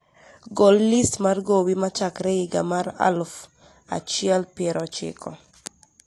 Gol listi mar gowi chakre iga mar alafu achiel piero chiko